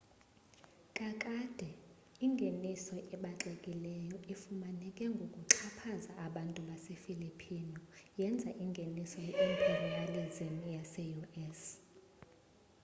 kakade ingeniso ebaxekileyo efumaneke ngokuxhaphaza abantu base filipino yenza ingeniso ye imperialism yase u.s